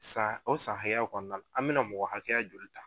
san o san haya o kɔnɔna an me na mɔgɔ hakɛya joli ta?